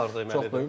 Bu maraq vardı.